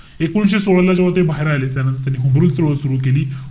एकोणीशे सोळा ला जेव्हा ते बाहेर आले. त्यानंतर त्यांनी होमरूल चळवळ सुरु केली.